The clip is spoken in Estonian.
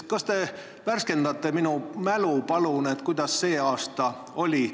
Palun värskendage mu mälu ja öelge, kuidas sel aastal oli!